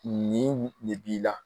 Nin de b'i la